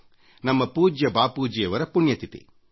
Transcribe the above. ನಮ್ಮ ಪೂಜ್ಯ ಬಾಪೂಜಿಯವರ ಪುಣ್ಯತಿಥಿ